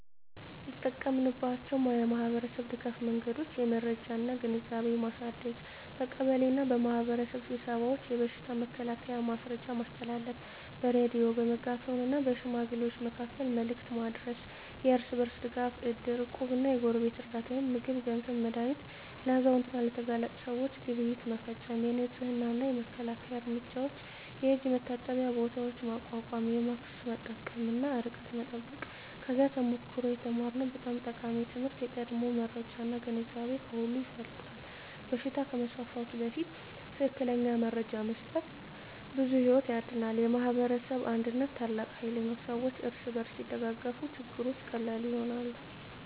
የተጠቀማችንባቸው የማኅበረሰብ ድጋፍ መንገዶች የመረጃ እና ግንዛቤ ማሳደግ በቀበሌ እና በማኅበረሰብ ስብሰባዎች የበሽታ መከላከያ መረጃ ማስተላለፍ በሬዲዮ፣ በሜጋፎን እና በሽማግሌዎች መካከል መልዕክት ማድረስ የእርስ በርስ ድጋፍ እድር፣ እቁብ እና የጎረቤት ርዳታ (ምግብ፣ ገንዘብ፣ መድሃኒት) ለአዛውንት እና ለተጋላጭ ሰዎች ግብይት መፈፀም የንፅህና እና መከላከያ እርምጃዎች የእጅ መታጠቢያ ቦታዎች ማቋቋም ማስክ መጠቀም እና ርቀት መጠበቅ ከዚያ ተሞክሮ የተማርነው በጣም ጠቃሚ ትምህርት የቀድሞ መረጃ እና ግንዛቤ ከሁሉ ይበልጣል በሽታ ከመስፋፋቱ በፊት ትክክለኛ መረጃ መስጠት ብዙ ሕይወት ያድናል። የማኅበረሰብ አንድነት ታላቅ ኃይል ነው ሰዎች እርስ በርስ ሲደጋገፉ ችግሮች ቀላል ይሆናሉ።